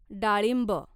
डाळिंब